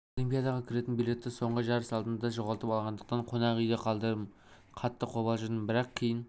мен олимпиадаға кіретін билетті соңғы жарыс алдында жоғалтып алғандықтан қонақ үйде қалдым қатты қобалжыдым бірақ кейін